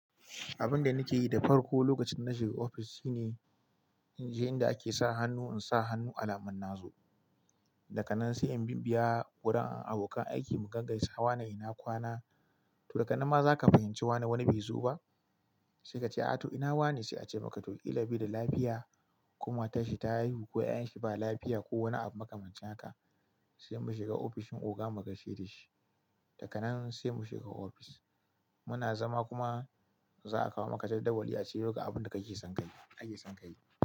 Abin da nake yi da farko lokacin na shiga ofis shine in je inda ake sa hannu in sa hannu alamun na zo. Daka nan sai in biya wurin abokan aiki mu gaggaisa, wane ina kwana, to daga nan ma za ka fahimci wani wani bai zo ba. Sai ka ce a to ina wane sai a ce maka to ita ba da lafiya ko matan shi ta haihu ko 'yan shi ba lafiya ko wani abu muka mance haka sai mu shiga ofishin oga mu kashe da shi. Daka nan sai mu shiga ofis. Muna zama kuma za a kawo maka jadawali a ciro ga abin da kake son ka yi, a ke son ka yi.